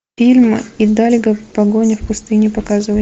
фильм идальго погоня в пустыне показывай